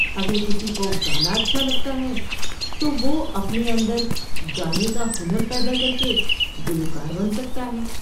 اگر کسی کو گانا اچھا لگتا ہے تو وہ اپنے اندر گانے کا ہنر پیدا کر کے گلوکار بن سکتا ہے۔